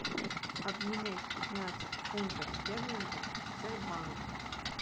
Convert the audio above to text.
обменять пятнадцать фунтов стерлингов в сбербанке